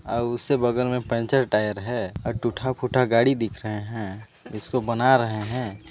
--और उससे बगल में पंचर टायर है और टुटहा फुटहा गाड़ी दिख रहा है इसको बना रहे हैं।